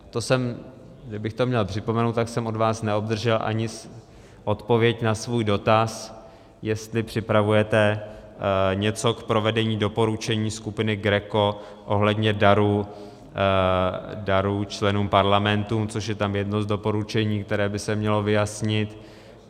Kdybych to měl připomenout, tak jsem od vás neobdržel ani odpověď na svůj dotaz, jestli připravujete něco k provedení doporučení skupiny GRECO ohledně darů členům parlamentů, což je tam jedno z doporučení, které by se mělo vyjasnit.